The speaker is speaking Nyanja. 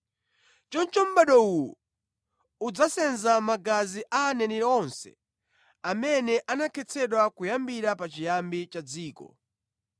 Choncho mʼbado uwu udzasenza magazi a aneneri onse amene anakhetsedwa kuyambira pachiyambi cha dziko,